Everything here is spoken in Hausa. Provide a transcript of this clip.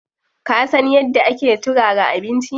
Ka san yadda ake turara abinci?